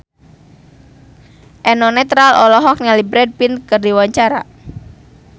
Eno Netral olohok ningali Brad Pitt keur diwawancara